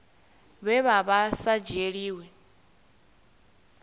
vhe vha vha sa dzhielwi